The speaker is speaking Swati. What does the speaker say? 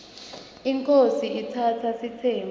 inkhosi itsatsa sitsembu